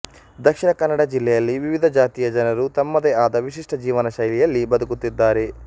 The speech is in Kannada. ದಕ್ಷಿಣ ಕನ್ನಡ ಜಿಲ್ಲೆಯಲ್ಲಿ ವಿವಿಧ ಜಾತಿಯ ಜನರು ತಮ್ಮದೇ ಆದ ವಿಶಿಷ್ಟ ಜೀವನ ಶೈಲಿಯಲ್ಲಿ ಬದುಕುತ್ತಿದ್ದಾರೆ